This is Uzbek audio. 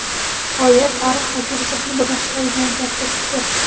G‘oya tarix va kelajakni birlashtiradigan katta kuchdir.